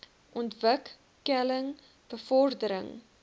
ontwik keling bevordering